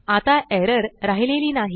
आता एरर राहिलेली नाही